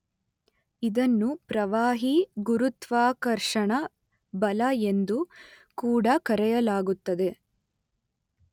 ಇದನ್ನು ಪ್ರವಾಹೀ ಗುರುತ್ವಾಕರ್ಷಣ ಬಲ ಎಂದು ಕೂಡ ಕರೆಯಲಾಗುತ್ತದೆ.